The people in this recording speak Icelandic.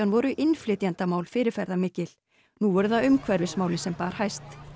voru innflytjendamál fyrirferðarmikil nú voru það umhverfismálin sem bar hæst